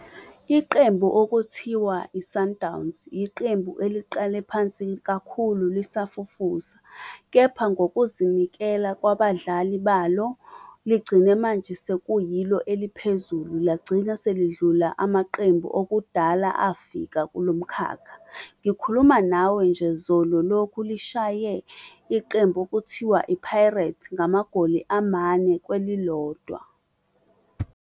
Iqembu okuthiwa i-Sundowns, iqembu eliqale phansi kakhulu lisafufusa. Kepha ngokuzinikela kwabadlali balo ligcine manje sekuyilo eliphezulu lagcina selidlula amaqembu okudala afika kulo mkhakha. Ngikhuluma nawe nje zolo lokhu lishaye iqembu okuthiwa i-Pirates ngamagoli amane kwelilodwa.